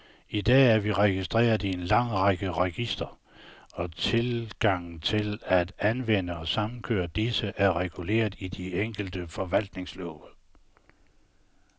I dag er vi registreret i en lang række registre, og tilgangen til at anvende og samkøre disse, er reguleret i de enkelte forvaltningslove.